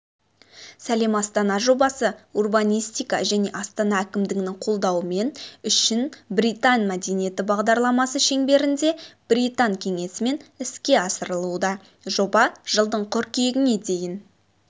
сәлем астана жобасы урбанистика және астана әкімдігінің қолдауымен үшін британ мәдени бағдарламасы шеңберінде британ кеңесімен іске асырылуда жоба жылдың қыркүйегіне дейін